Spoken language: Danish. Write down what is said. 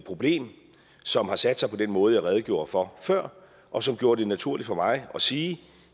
problem som har sat sig på den måde jeg redegjorde for før og som gjorde det naturligt for mig at sige